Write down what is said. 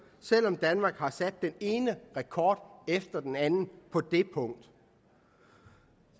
selv om danmark har sat den ene rekord efter den anden på det punkt